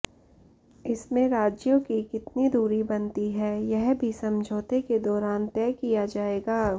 इसमें राज्यों की कितनी दूरी बनती है यह भी समझौते के दौरान तय किया जाएगा